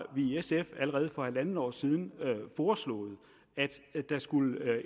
vi i sf allerede for halvandet år siden foreslået at der skulle